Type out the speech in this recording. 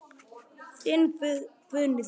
Þinn Guðni Þór.